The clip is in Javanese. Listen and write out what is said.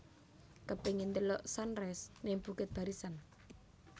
Kepingin ndelok sunrise ning Bukit Barisan